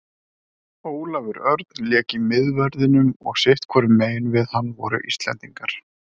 Ólafur Örn lék í miðverðinum og sitthvorum megin við hann voru Íslendingar.